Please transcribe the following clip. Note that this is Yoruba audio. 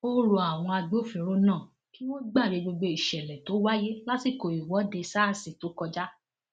ó rọ àwọn agbófinró náà kí wọn gbàgbé gbogbo ìṣẹlẹ tó wáyé lásìkò ìwọde sars tó kọjá